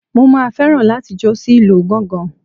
Mo máa fẹ́ràn láti jó sí ìlú gángan.